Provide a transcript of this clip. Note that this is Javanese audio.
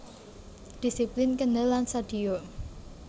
Dhisiplin kendel lan sadhiya